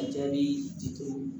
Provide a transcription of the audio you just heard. A jaabi diti